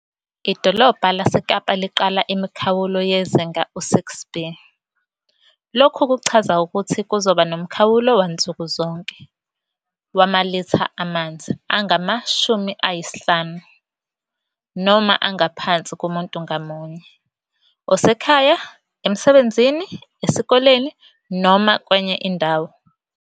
IDolobha laseKapa liqala imikhawulo yezinga u-6B. Lokhu kuchaza ukuthi kuzoba nomkhawulo wansuku zonke wamalitha amanzi angama-50 noma angaphansi kumuntu ngamunye, osekhaya, emsebenzini, esikoleni noma kwenye indawo.